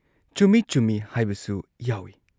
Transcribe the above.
ꯆꯨꯝꯏ ꯆꯨꯝꯏ ꯍꯥꯏꯕꯁꯨ ꯌꯥꯎꯏ ꯫